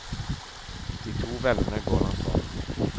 De to vennene går langs stranden.